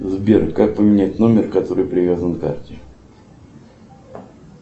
сбер как поменять номер который привязан к карте